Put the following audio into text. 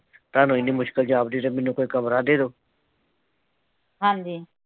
ਹਾਂ ਜੀ।